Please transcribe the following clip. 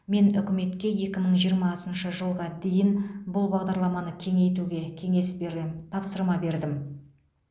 мен үкіметке екі мың жиырмасыншы жылға дейін бұл бағдарламаны кеңейтуге кеңес берем тапсырма бердім